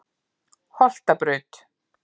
Holtabraut